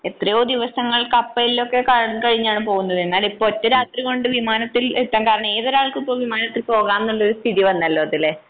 എത്രയോ ദിവസങ്ങൾ കപ്പലിൽ ഒക്കെ കഴിഞ്ഞാണ് പോകുന്നത് എന്നാൽ ഇപ്പോ ഒറ്റരാത്രികൊണ്ട് വിമാനത്തിൽ എത്തേണ്ട ഏതൊരാൾക്കും ഇപ്പോൾ വിമാനത്തിൽ പോകാംന്നുള്ളൊരു സ്ഥിതി വന്നല്ലോ അതുലേ.